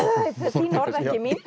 þín orð